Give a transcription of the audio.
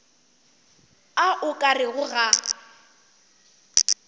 a o ka rego ga